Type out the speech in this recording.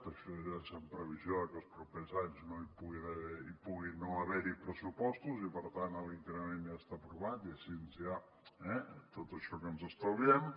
això ja és en previsió de que els propers anys hi pugui no haver hi pressupostos i per tant l’increment ja està aprovat i així ja eh tot això que ens estalviem